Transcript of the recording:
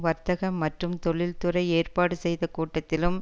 வர்த்தக மற்றும் தொழில்துறை ஏற்பாடு செய்த கூட்டத்திலும்